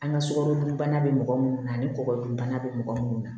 An ka sukɔro dunbana be mɔgɔ munnu na ani kɔkɔdunbana bɛ mɔgɔ munnu na